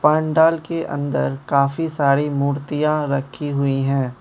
पंडाल के अंदर काफी सारी मूर्तियां रखी हुई हैं।